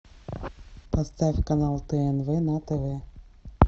поставь канал тнв на тв